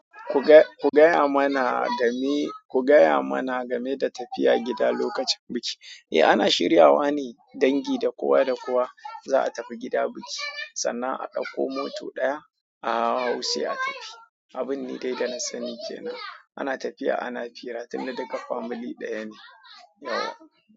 Ku gaya mana game, ku gaya mana game da tafiya gida lokacin biki. Eh ana shiryana ne dangi da kowa da kowa za'a tafi gidan biki, sanna a ɗauko mota ɗaya a sai a tafi. Abun ne dai da na sani ke nan. Ana tafiya ana hira, tunda dukka family ɗaya ne, yauwa.